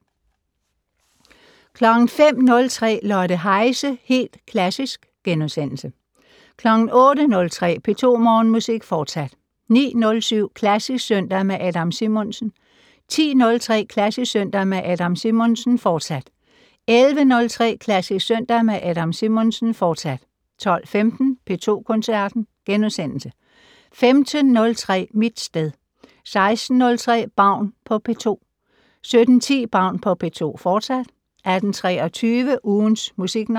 05:03: Lotte Heise - Helt Klassisk * 08:03: P2 Morgenmusik, fortsat 09:07: Klassisk søndag med Adam Simonsen 10:03: Klassisk søndag med Adam Simonsen, fortsat 11:03: Klassisk søndag med Adam Simonsen, fortsat 12:15: P2 Koncerten * 15:03: Mit sted 16:03: Baun på P2 17:10: Baun på P2, fortsat 18:23: Ugens Musiknavn